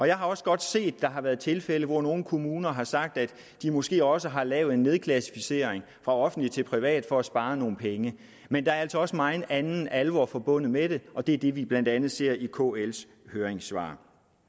jeg har også godt set at der har været tilfælde hvor nogle kommuner har sagt at de måske også har lavet en nedklassificering fra offentlig til privat for at spare nogle penge men der er altså også megen anden alvor forbundet med det og det er det vi blandt andet ser i kls høringssvar